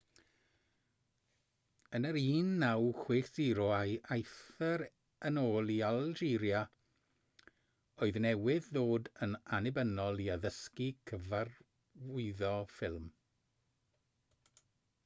yn y 1960au aeth e yn ôl i algeria oedd newydd ddod yn annibynnol i addysgu cyfarwyddo ffilm